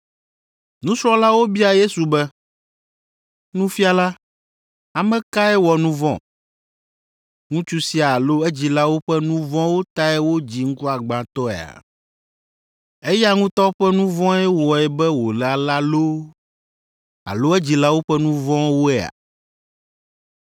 Nusrɔ̃lawo bia Yesu be, “Nufiala, ame kae wɔ nu vɔ̃, ŋutsu sia alo edzilawo ƒe nu vɔ̃wo tae wodzii ŋkuagbãtɔea? Eya ŋutɔ ƒe nu vɔ̃e wɔe be wòle alea loo alo edzilawo ƒe nu vɔ̃woe?”